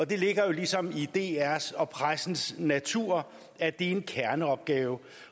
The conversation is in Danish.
det ligger jo ligesom i drs og pressens natur at det er en kerneopgave